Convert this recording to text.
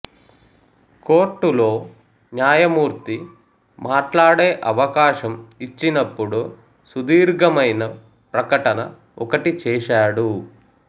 కోర్టులో న్యాయమూర్తి మాట్లాడే అవకాశం ఇచ్చినప్పుడు సుదీర్ఘమైన ప్రకటన ఒకటి చేశాడు